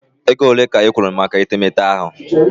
Ego ole ka ị kwụrụ maka etemeete gị?